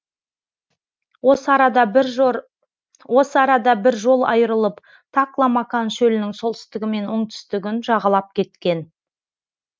осы арада бір жол айырылып такла макан шөлінің солтүстігі мен оңтүстігін жағалап кеткен